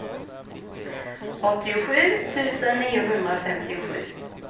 åttiosju tusen niohundrafemtiosju